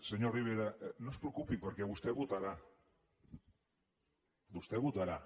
senyor rivera no es preocupi perquè vostè votarà vostè votarà